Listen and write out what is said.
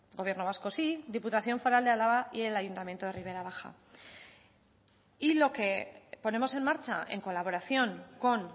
gobierno vasco sí diputación foral de álava y el ayuntamiento de ribera baja y lo que ponemos en marcha en colaboración con